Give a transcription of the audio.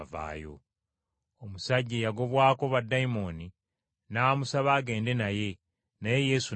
Omusajja, eyagobwako baddayimooni n’amusaba agende naye, naye Yesu n’agaana.